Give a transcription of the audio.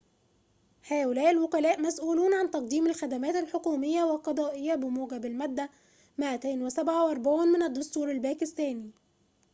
هؤلاء الوكلاء مسؤولون عن تقديم الخدمات الحكومية و القضائية بموجب المادة 247 من الدستور الباكستاني